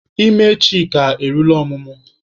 Ime Chika eruola ọmụmụ.